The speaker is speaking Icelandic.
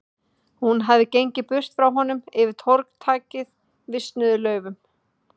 Hún hafði gengið burtu frá honum, yfir torg þakið visnuðum laufum.